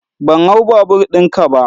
Ban hau babur ɗin ka ba.